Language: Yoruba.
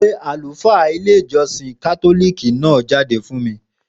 Pe àlùfáà ilé ìjósìn kátólìkì náà jáde fún mi